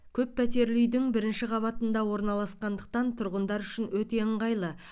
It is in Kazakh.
көп пәтерлі үйдің бірінші қабатында орналасқандықтан тұрғындар үшін өте ыңғайлы